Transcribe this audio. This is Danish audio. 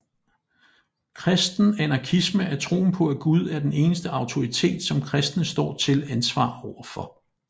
Kristen anarkisme er troen på at Gud er den eneste autoritet som kristne står til ansvar overfor